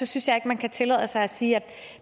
synes jeg ikke man kan tillade sig at sige at